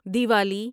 Diwali